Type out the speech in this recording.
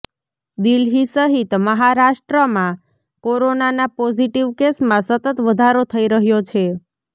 દિલ્હી સહિત મહારાષ્ટ્રમાં કોરોનાના પોઝિટિવ કેસમાં સતત વધારો થઇ રહ્યો છે